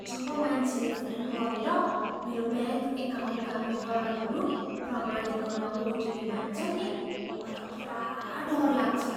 जब मान्छेले फोन गरेर मेरो ब्याङ्क एकाउन्टका विवरणहरू प्रमाणित गर्न ओटिपी माग्छन् नि, म त पुरा डर लाग्छ।